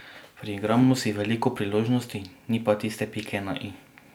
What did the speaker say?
Priigramo si veliko priložnosti, ni pa tiste pike na i.